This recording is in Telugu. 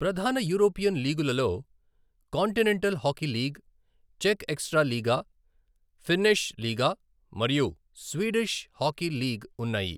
ప్రధాన యూరోపియన్ లీగులలో కాంటినెంటల్ హాకీ లీగ్, చెక్ ఎక్సట్రాలీగా, ఫిన్నిష్ లీగా మరియు స్వీడిష్ హాకీ లీగ్ ఉన్నాయి.